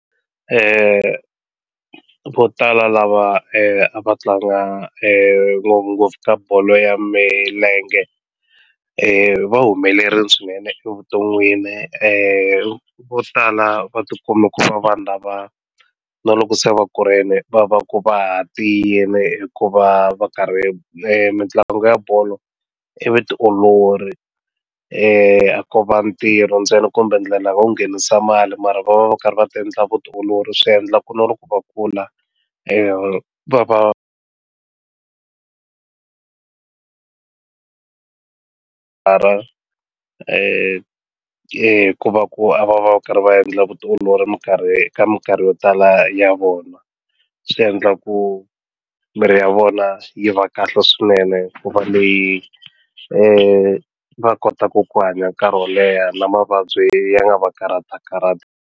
vo tala lava a va tlanga ngopfungopfu ka bolo ya milenge va humelerile swinene evuton'wini vo tala va ti kume ku va vanhu lava na loko se va kurile va va ku va ha tiyile hikuva va karhi mitlangu ya bolo i vutiolori a ko va ntirho ntsena kumbe ndlela yo nghenisa mali mara va va va karhi va ti endla vutiolori swi endla ku na loko va kula va va va ra ku va ku va va karhi va endla vutiolori minkarhi ka minkarhi yo tala ya vona swi tavendla ku miri ya vona yi va kahle swinene hikuva leyi yi va kotaku ku hanya nkarhi wo leha na mavabyi ya nga va karhatikarhati.